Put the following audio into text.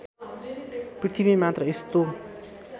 पृथ्वी मात्र यस्तो